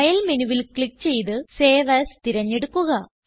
file മെനുവിൽ click ചെയ്ത് save as തിരഞ്ഞെടുക്കുക